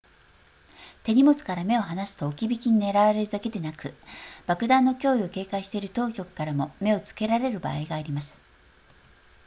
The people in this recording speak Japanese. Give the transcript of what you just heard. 手荷物から目を放すと置き引きに狙われるだけでなく爆弾の脅威を警戒している当局からも目をつけられる場合があります